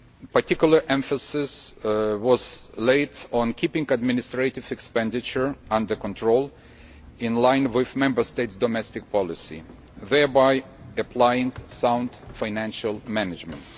Particular emphasis was placed on keeping administrative expenditure under control, in line with Member States' domestic policy, thereby applying sound financial management.